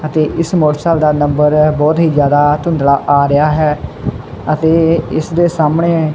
ਅਤੇ ਇਸ ਮੋਟਰਸਾਇਕਲ ਦਾ ਨੰਬਰ ਬਹੁਤ ਹੀ ਜਿਆਦਾ ਧੁੰਦਲਾ ਆ ਰਿਹਾ ਹੈ ਅਤੇ ਇਸ ਦੇ ਸਾਹਮਣੇ--